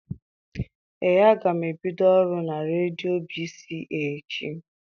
Ee, aga m ebido ọrụ na redio B.C.A echi.